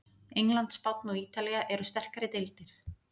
England, Spánn og Ítalía eru sterkari deildir.